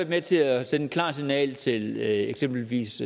med til at sende et klart signal til eksempelvis